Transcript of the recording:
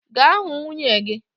Gaa hụ nwunye gị